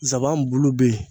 Nsaban bulu bɛ yen